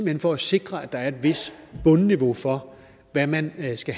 hen for at sikre at der er et vist bundniveau for hvad man skal